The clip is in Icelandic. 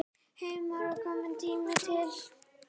Heimir Már: Kominn tími til?